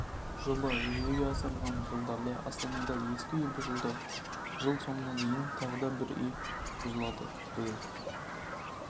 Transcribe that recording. жоба жүзеге асырылған жылдары астанада ескі үй бұзылды жыл соңына дейін тағы да үй бұзылады биыл